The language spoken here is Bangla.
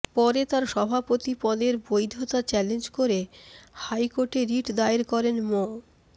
পরে তার সভাপতি পদের বৈধতা চ্যালেঞ্জ করে হাইকোর্টে রিট দায়ের করেন মো